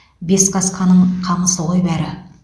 бесқасқаның қамысы ғой бәрі